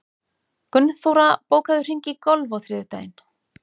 Gunnþóra, bókaðu hring í golf á þriðjudaginn.